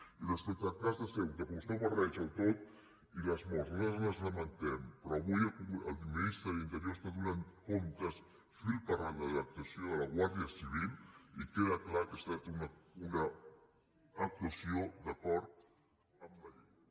i respecte al cas de ceuta que vostè ho barreja tot i les morts nosaltres les lamentem però avui el ministre d’interior està donant comptes fil per randa de l’actuació de la guàrdia civil i queda clar que ha estat una actuació d’acord amb la llei